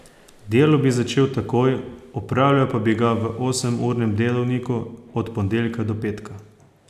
Delo bi začel takoj, opravljal pa bi ga v osemurnem delovniku od ponedeljka do petka.